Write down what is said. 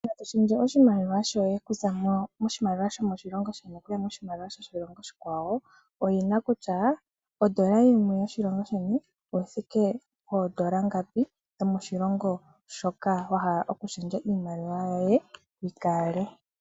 Oku shendja oshimaliwa shoye oku za moshimalwa shomoshilongo shono okuya yokoshilongo oshikwawo oyina kutya ondola yimwe yomoshilongo shono oyi thike poondola ngapi shomoshilongo shoka wahala iimaliwa yoye yikale.